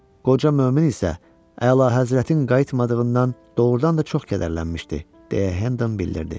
Qoca mömin isə Əlahəzrətin qayıtmadığından doğrudan da çox kədərlənmişdi, deyə Hendon bildirdi.